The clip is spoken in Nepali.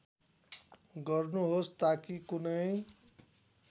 गर्नुहोस् ताकी कुनै